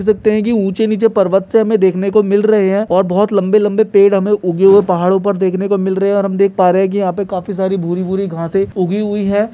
और देख सकते हैं की ऊँचे नीचे पर्वत से हमे देखने को मिल रहे हैं और बहोत लंबे लंबे पेड़ हमे उगे हुए पहाड़ों पर देखने को मिल रहे हैं और हम देख पा रहे हैं की यहाँ पे काफी सारी भूरी भूरी घासें उगी हुई हैं।